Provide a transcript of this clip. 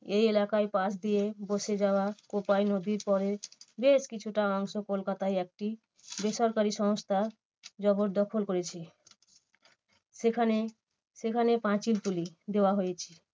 এই এলাকার পাশ দিয়ে বসে যাওয়া কোপাই নদীর পড়ে বেশ কিছুটা অংশ কলকাতায় একটি বেসরকারি সংস্থা জবরদখল করেছে। সেখানে সেখানে পাঁচিল তুলি দেওয়া হয়েছে।